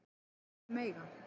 Og þau mega